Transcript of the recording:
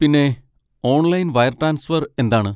പിന്നെ, online wire transfer എന്താണ്?